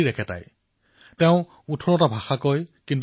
ever ছেপ্পুমঝি পধিনেটুডায়ল এনিল ছিনধানাই অণ্ড্ৰুডায়ল